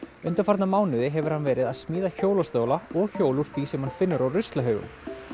undanfarna mánuði hefur hann verið að smíða hjólastóla og hjól úr því sem hann finnur á ruslahaugum